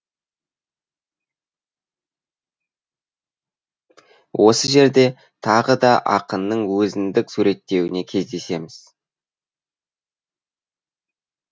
осы жерде тағы да ақынның өзіндік суреттеуіне кездесеміз